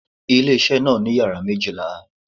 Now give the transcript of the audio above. Ilé isé náà ní yàrá isé méjìlá